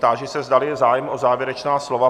Táži se, zdali je zájem o závěrečná slova.